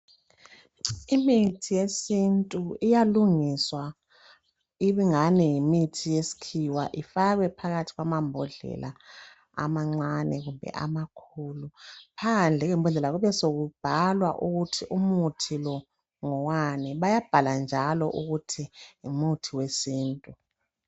Imithi yesintu iyalungiswa ibingani yimithi yesikhiwa ifakwe phakathi kwamambodlela amancane kumbe amakhulu. Phandle kwembondlela kube sokubhalwa ukuthi umuthi lo ngowani. Bayabhala njalo ukuthi ngumuthi wesintu.